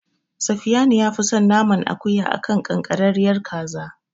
Safiyanu yafi son naman akuya a kan ƙanƙararriyar kaza.